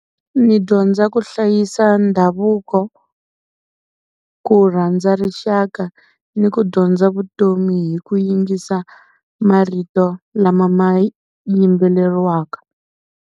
Ni dyondza ku hlayisa ndhavuko, ku rhandza rixaka ni ku dyondza vutomi hi ku yingisa marito lama ma yimbeleriwaka.